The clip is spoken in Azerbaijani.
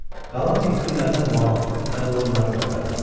Qalan diktirələrdə mal və qoyunları otarırdılar.